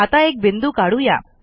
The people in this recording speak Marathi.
आता एक बिंदू काढू या